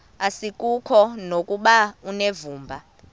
asikuko nokuba unevumba